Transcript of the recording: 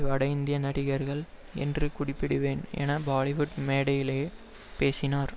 வட இந்திய நடிகர்கள் என்றே குறிப்பிடுவேன் என பாலிவுட் மேடையிலேயே பேசினார்